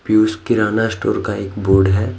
पियूष किराना स्टोर का एक बोर्ड हैं।